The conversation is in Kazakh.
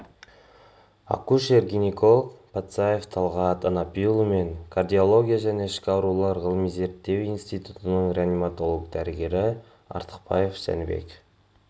акушер-гинеколог патсаев талғат анапиұлы мен кардиология және ішкі аурулар ғылыми-зерттеу институтының реаниматолог дәрігері артықбаев жәнібек